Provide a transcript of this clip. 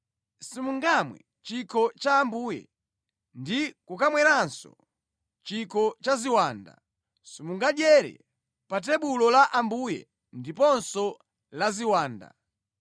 Simungamwe chikho cha Ambuye, ndi kukamweranso chikho cha ziwanda. Simungadyere pa tebulo la Ambuye ndiponso la ziwanda.